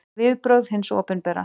Viðbrögð hins opinbera